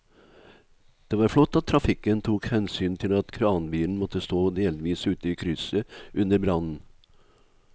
Det var flott at trafikken tok hensyn til at kranbilen måtte stå delvis ute i krysset under brannen.